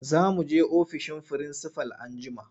Za mu je ofishin firinsifal anjima.